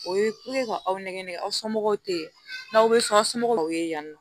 O ye ka aw nɛgɛ nɛgɛ aw somɔgɔw te yen n'aw be so aw somɔgɔw ye yan nɔ